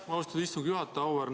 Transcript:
Aitäh, austatud istungi juhataja!